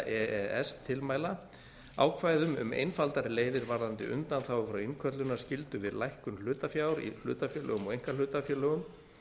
e s tilmæla ákvæðum um einfaldari leiðir varðandi undanþágur frá innköllunarskyldu við lækkun hlutafjár í hlutafélögum og einkahlutafélögum